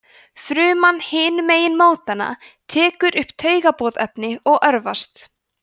fruman hinum megin mótanna tekur upp taugaboðefnið og örvast